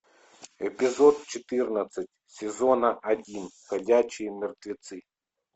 эпизод четырнадцать сезона один ходячие мертвецы